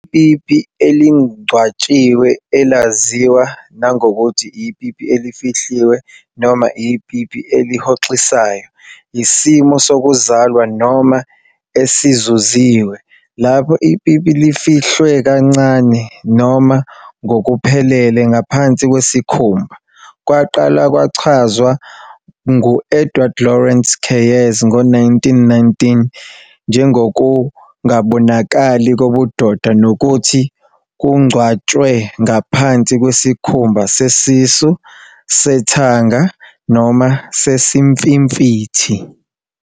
Ipipi elingcwatshiwe, elaziwa nangokuthi ipipi elifihliwe noma ipipi elihoxisayo, yisimo sokuzalwa noma esizuziwe, lapho ipipi lifihlwe kancane noma ngokuphelele ngaphansi kwesikhumba. Kwaqala kwachazwa ngu-Edward Lawrence Keyes ngo-1919 njengokungabonakali kobudoda nokuthi kungcwatshwe ngaphansi kwesikhumba sesisu, sethanga, noma sesimfimfithi.